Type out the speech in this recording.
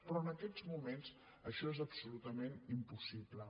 però en aquests moments això és absolutament impossible